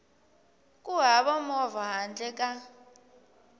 ku hava movha handle ka